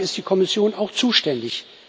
Dafür ist die Kommission auch zuständig.